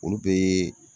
Olu be